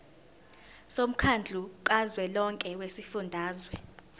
womkhandlu kazwelonke wezifundazwe